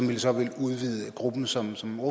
vel så vil udvide gruppen som som